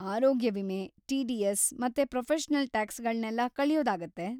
ಆರೋಗ್ಯ ವಿಮೆ, ಟಿ.ಡಿ.ಎಸ್. ಮತ್ತೆ ಪ್ರೊಫೆಷನಲ್‌ ಟ್ಯಾಕ್ಸ್‌ಗಳ್ನೆಲ್ಲ ಕಳ್ಯೋದಾಗತ್ತೆ.